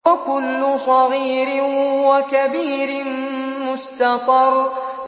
وَكُلُّ صَغِيرٍ وَكَبِيرٍ مُّسْتَطَرٌ